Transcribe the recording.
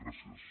gràcies